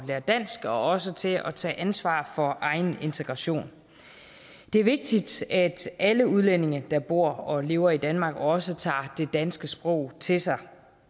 at lære dansk og også til at tage ansvar for egen integration det er vigtigt at alle udlændinge der bor og lever i danmark også tager det danske sprog til sig